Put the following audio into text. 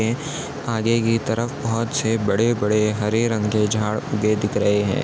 --है आगे की तरफ पाँच छह बड़े बड़े हरे रंग के झाड़ उगे दिख रहे है।